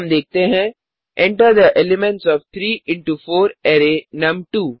अब हम देखते हैंEnter थे एलिमेंट्स ओएफ 3 इंटो 4 अराय नुम2